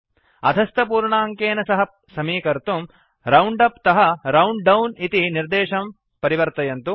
अधस्थपूर्णाङ्केन सह समीकर्तुं राउण्डअप तः राउण्डडाउन इति निर्देशं परिवर्तयन्तु